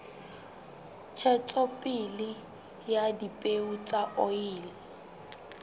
ntshetsopele ya dipeo tsa oli